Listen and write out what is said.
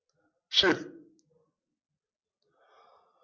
ശരി